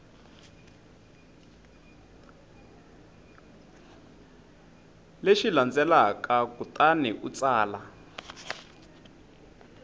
lexi landzelaka kutani u tsala